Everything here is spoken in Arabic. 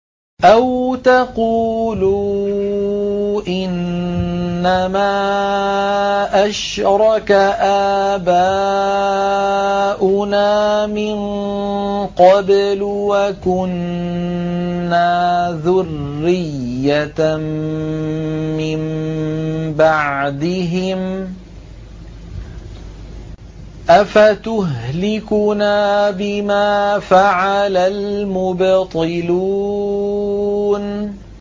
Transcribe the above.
أَوْ تَقُولُوا إِنَّمَا أَشْرَكَ آبَاؤُنَا مِن قَبْلُ وَكُنَّا ذُرِّيَّةً مِّن بَعْدِهِمْ ۖ أَفَتُهْلِكُنَا بِمَا فَعَلَ الْمُبْطِلُونَ